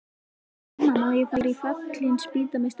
Mamma, má ég fara í Fallin spýta með stelpunum?